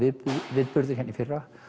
viðburðir hérna í fyrra